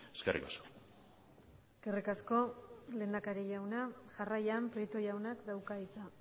eskerrik asko eskerrik asko lehendakari jauna jarraian prieto jaunak dauka hitza